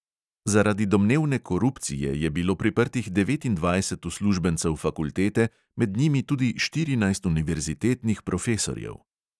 Zaradi domnevne korupcije je bilo priprtih devetindvajset uslužbencev fakultete, med njimi tudi štirinajst univerzitetnih profesorjev.